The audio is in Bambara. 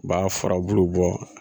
U b'a fara bulu bɔ